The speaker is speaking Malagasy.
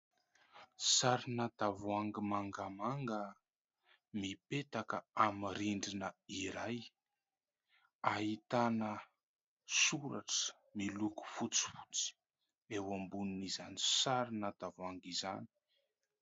Sarina tavoahangy mangamanga mipetaka amin'ny rindrina iray, ahitana soratra miloko fotsifotsy eo ambonin'izany sarina tavoahangy izany.